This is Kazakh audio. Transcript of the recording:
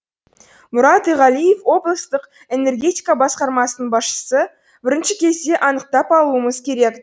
мұрат иғалиев облыстық энергетика басқармасының басшысы бірінші кезде анықтап алуымыз керек